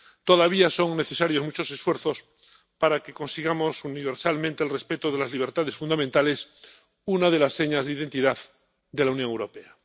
Todavía son necesarios muchos esfuerzos para que consigamos universalmente el respeto de las libertades fundamentales, una de las señas de identidad de la Unión Europea.